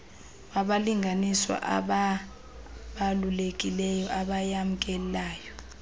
wabalinganiswa abaabalulekileyo abayamkelayo